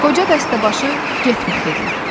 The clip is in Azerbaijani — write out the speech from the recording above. Qoca dəstəbaşı 'Getmə' dedi.